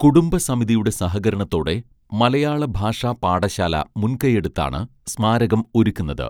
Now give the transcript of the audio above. കുടുംബസമിതിയുടെ സഹകരണത്തോടെ മലയാളഭാഷാപാഠശാല മുൻകൈയെടുത്താണ് സ്മാരകം ഒരുക്കുന്നത്